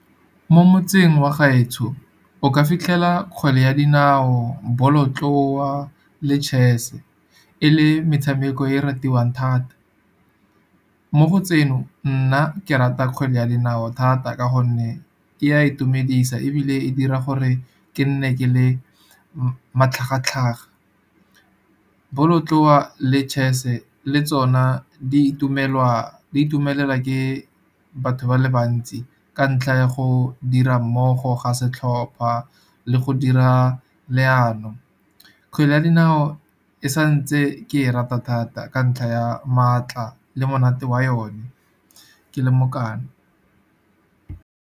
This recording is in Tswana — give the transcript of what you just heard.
Mo motseng wa gaetsho, o ka fitlhela kgwele ya dinao, bolotloa le chess-e, e le metshameko e ratiwang thata. Mo go tseno, nna ke rata kgwele ya dinao thata ka gonne e a itumedisa, ebile e dira gore ke nne ke le matlhagatlhaga. Bolotloa le chess-e le tsona di itumelela ke batho ba le bantsi, ka ntlha ya go dira mmogo ga setlhopha le go dira leano. Kgwele ya dinao e sa ntse ke e rata thata ka ntlha ya maatla le monate wa yone ke le mokana.